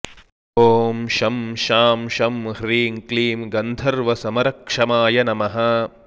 ॐ शं शां षं ह्रीं क्लीं गन्धर्वसमरक्षमाय नमः